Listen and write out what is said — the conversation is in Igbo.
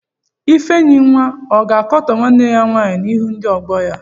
Ifenyinwa ọ ga-akọta nwanne ya nwaanyị n'ihu ndị ọgọ ya?